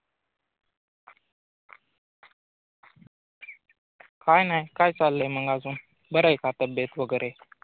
काही नाही काय चाललय मग अजून बर आहे का तब्बेत वगरे